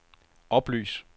oplys